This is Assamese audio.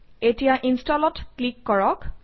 এতিয়া Install অত ক্লিক কৰক